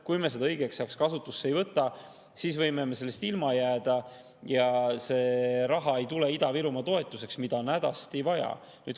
Kui me seda õigeks ajaks kasutusse ei võta, siis me võime sellest ilma jääda ja Ida-Virumaa toetuseks ei tule seda raha, mida on hädasti vaja.